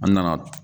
An nana